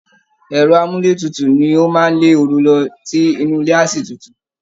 Ẹ̀rọ àmúlétutù ni ó máa lé ooru lọ tí inú ilé a sì tutù